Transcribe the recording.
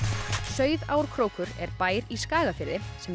Sauðárkrókur er bær í Skagafirði sem